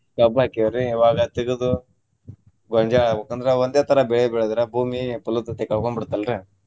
ಕಬ್ಬ್ ಹಾಕೆವ್ರಿ ಇವಾಗ ತೆಗದು ಗೊಂಜ್ಯಾಳ ಹಾಕ್ಬೇಕ. ಅಂದ್ರ ಒಂದೇ ತರಾ ಬೆಳೆ ಬೆಳದ್ರ ಭೂಮಿ ಫಲವತ್ತತೆ ಕಳ್ಕೊಂಡ್ ಬಿಡ್ತಲ್ರಿ.